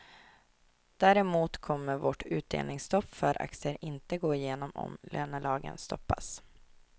Däremot kommer vårt utdelningsstopp för aktier inte gå igenom om lönelagen stoppas.